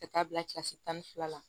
Ka taa bila kilasi tan ni fila la